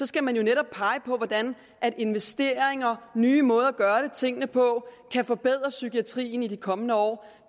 skal man netop pege på hvordan investeringer og nye måder at gøre tingene på kan forbedre psykiatrien i de kommende år